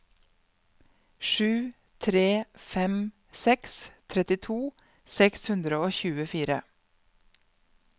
sju tre fem seks trettito seks hundre og tjuefire